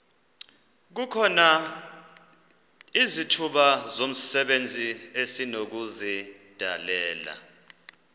izithuba zomsebenzi esinokuzidalela